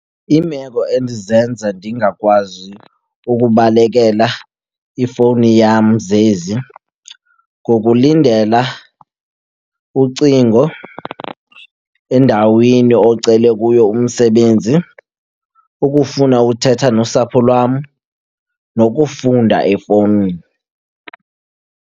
Iimeko endizenza ndingakwazi ukubalekela ifowuni yam zezi, kukulindela ucingo endaweni ocele kuyo umsebenzi, ukufuna uthetha nosapho lwam, nokufunda efowunini.